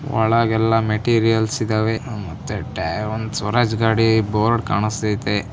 ಒಳಗೆಲ್ಲಾ materials ಇದ್ದಾವೆ ಮತ್ತೆ ಟ್ಯ ಒಂದ ಸ್ವರಾಜ್ ಗಾಡಿ ಬೋರ್ಡ್ ಕಾಣಸ್ಥೈತೆ.